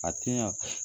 A ti ɲa